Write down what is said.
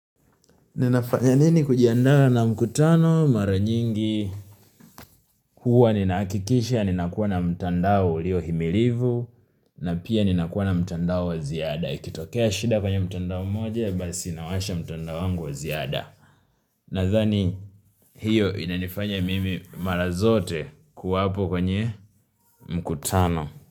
Ninafanya nini kujiandaa na mkutano mara nyingi huwa ninaakikisha ninakuwa na mtandao ilio himilivu na pia ninakuwa na mtandao wa ziada. Ikitokea shida kwenye mtandao moja basi nawasha mtandao wangu wa ziada. Nathani hiyo inanifanya mimi mara zote kuwapo kwenye mkutano.